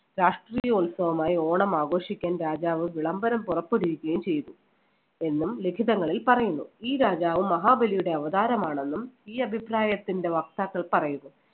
രാഷ്ട്രീയ ഉത്സവമായി ഓണം ആഘോഷിക്കാൻ രാജാവ് വിളംബരം പുറപ്പെടുവിക്കുകയും ചെയ്തു എന്നും ലിഖിതങ്ങളിൽ പറയുന്നു. ഈ രാജാവ് മഹാബലിയുടെ അവതാരമാണെന്നും ഈ അഭിപ്രായത്തിന്‍റെ വക്താക്കൾ പറയുന്നു.